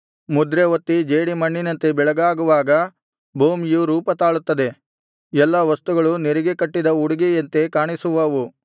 ಮುದ್ರೆ ಒತ್ತಿದ ಜೇಡಿಮಣ್ಣಿನಂತೆ ಬೆಳಗಾಗುವಾಗ ಭೂಮಿಯು ರೂಪ ತಾಳುತ್ತದೆ ಎಲ್ಲಾ ವಸ್ತುಗಳು ನೆರಿಗೆ ಕಟ್ಟಿದ ಉಡಿಗೆಯಂತೆ ಕಾಣಿಸುವವು